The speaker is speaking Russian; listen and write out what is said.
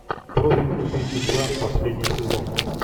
профиль убийцы два последний сезон